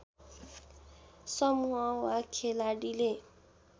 समूह वा खेलाडीले